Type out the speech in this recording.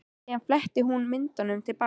Síðan fletti hún myndunum til baka.